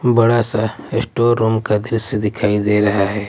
बड़ा सा store room का दृश्य दिखाई दे रहा है।